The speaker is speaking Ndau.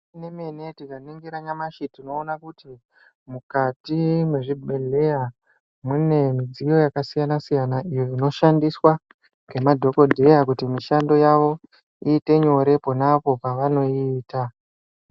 Zvemene- mene tikaningira tinoona kuti mukati mezvibhedhleya mune midziyo yakasiyana-siyana iyo inoshandiswa ngemadhokodheya kuti mishando yavo iite nyore ponapo pavanoiita.